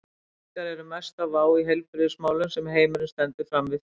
Reykingar eru mesta vá í heilbrigðismálum sem heimurinn stendur frammi fyrir.